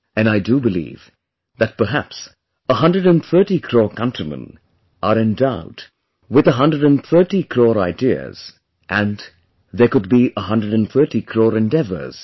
And I do believe that perhaps 130 crore countrymen are endowed with 130 crore ideas & there could be 130 crore endeavours